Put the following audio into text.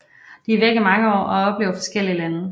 De er væk i mange år og oplever forskellige lande